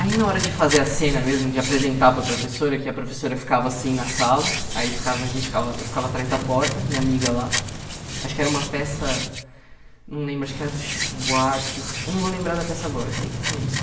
Aí na hora de fazer a cena mesmo, de apresentar para a professora, que a professora ficava assim na sala, aí ficava a gente ficava eu ficava atrás da porta, minha amiga lá, acho que era uma peça, não lembro, acho que era do Chico Buarque, eu não vou lembrar da peça agora, eu sei que tinha isso.